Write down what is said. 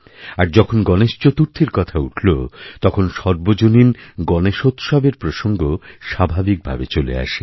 আর যখন গণেশ চতুর্থীর কথা উঠল তখন সর্বজনীন গণেশোৎসবের প্রসঙ্গস্বাভাবিকভাবে চলে আসে